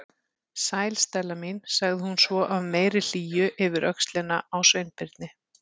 Sæl, Stella mín- sagði hún svo af meiri hlýju yfir öxlina á Sveinbirni.